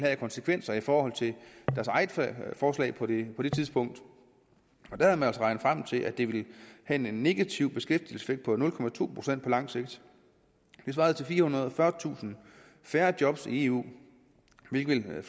af konsekvenser i forhold til deres eget forslag på det tidspunkt havde man regnet sig frem til at det ville have en negativ beskæftigelseseffekt på nul procent på langt sigt det svarer til firehundrede og fyrretusind færre job i eu hvilket i